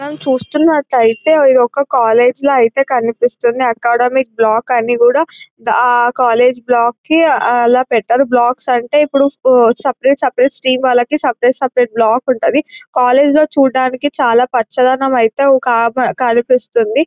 మనం చూస్తున్నట్లయితే ఇది ఒక కాలేజీ లా అయితే కనిపిస్తుంది అకాడమిక్ బ్లాక్ అని కూడా కాలేజీ బ్లాక్ కి అలా పెట్టారు. బ్లాక్ అంటే ఇప్పుడు సపరేట్ సపరేట్ స్ట్రీమ్స్ వాళ్లకి సపరేట్ సపరేట్ బ్లాక్ ఉంటది. కాలేజీ లో చూడడానికి చాలా పచ్చదనం అయితే కనిపిస్తుంది.